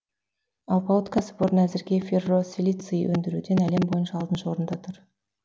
алпауыт кәсіпорын әзірге ферросилиций өндіруден әлем бойынша алтыншы орында тұр